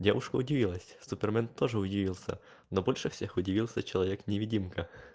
девушка удивилась супермен тоже удивился но больше всех удивился человек невидимка